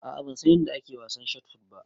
A'a ban san yanda ake wasan shotput ba.